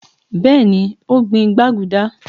beeni o gbin gbaguda.